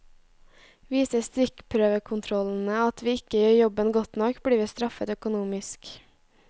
Viser stikkprøvekontrollene at vi ikke gjør jobben godt nok, blir vi straffet økonomisk.